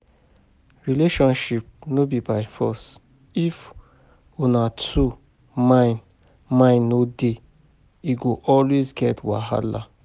Relationship no be by force, if una two mind mind no dey, e go always get wahala.